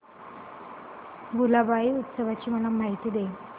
भुलाबाई उत्सवाची मला माहिती दे